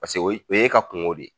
Pase o ye o y'e ka kungo de ye